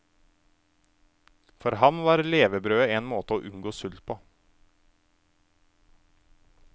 For ham var levebrødet en måte å unngå sult på.